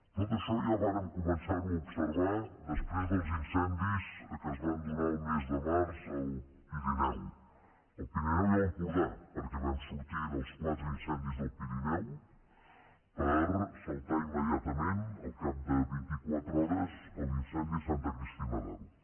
tot això ja vam començar ho a observar després dels incendis que es van donar el mes de març al pirineu al pirineu i a l’empordà perquè vam sortir dels quatre incendis del pirineu per saltar immediatament al cap de vint i quatre hores a l’incendi de santa cristina d’aro